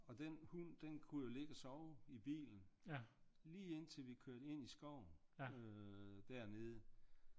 Og den hund den kunne jo ligge og sove i bilen lige indtil vi kørte ind i skoven øh dernede